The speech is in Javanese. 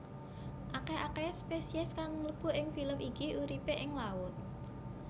Akeh akehe spesies kang mlebu ing filum iki uripe ing laut